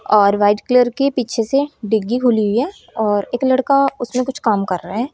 और white colour की पीछे से डिग्गी खुली हुई है और एक लड़का उसमें कुछ काम कर रहा है।